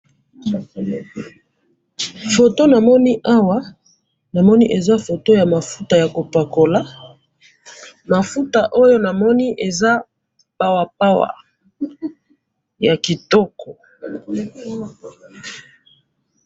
Photo namoni awa ,namoni eza photo ya mafuta ya ko pakola, mafuta oyo namoni eza pawa pawa ,ya kitoko